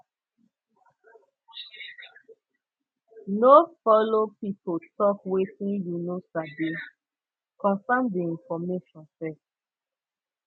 no follow pipo tok wetin you no sabi confirm di information first